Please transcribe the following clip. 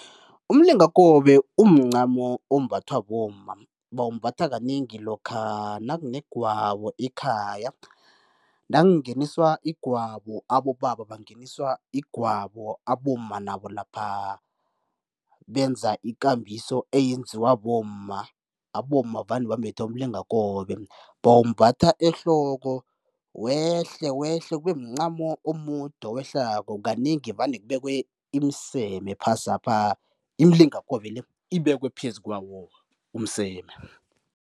Umlingakobe umncamo ombathwa bomma, bawumbatha kanengi lokha nakunegwabo ekhaya. Nakungeniswa igwabo, abobaba bangeniswa igwabo, abomma nabo lapha benza ikambiso eyenziwa bomma, abomma vane bambethe umlingakobe, bawumbatha ehloko wehle wehle kube mncamo omude owehlako. Kanengi vane kubekwe imiseme phasapha, imilingakobe le ibekwe phezu kwawo umseme.